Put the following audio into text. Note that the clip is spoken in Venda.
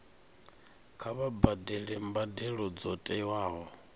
kha vha badele mbadelo dzo tiwaho